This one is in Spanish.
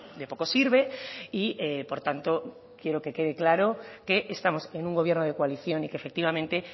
de poco sirve y por tanto quiero que quede claro que estamos en un gobierno de coalición y que efectivamente